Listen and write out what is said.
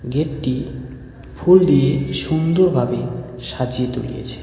গেটটি ফুল দিয়ে সুন্দরভাবে সাজিয়ে তুলিয়েছে.